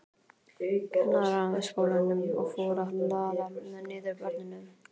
Kennaraskólanum, og fór að hlaða niður börnum.